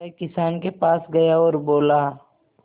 वह किसान के पास गया और बोला